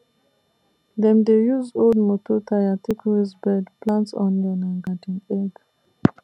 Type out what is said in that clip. dem dey use old moto tyre take raise bed plant onion and garden egg